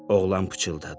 Oğlan pıçıldadı.